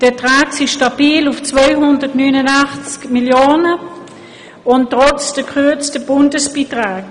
Die Erträge liegen stabil bei 289 Mio. Franken, und zwar trotz der gekürzten Bundesbeiträge.